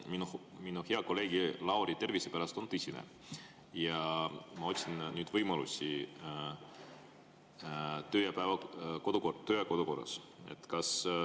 Minu mure hea kolleegi Lauri tervise pärast on tõsine ja ma otsin nüüd võimalusi töö- ja kodukorrast.